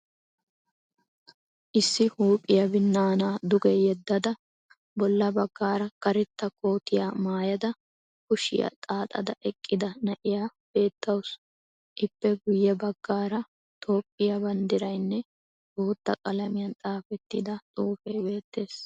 Issi huuphiyaa binnaanaa dugge yeddada bolla baggaara karetta kootiyaa maayada kushiyaa xaaxada eqqida na'iyaa beetawusu. Ippe guyye baggaara toophphiyaa banddiraynne bootta qalamiyan xaafettida xuufee beettees.